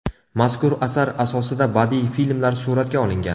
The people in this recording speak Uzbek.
Mazkur asar asosida badiiy filmlar suratga olingan.